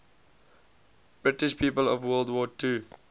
british people of world war ii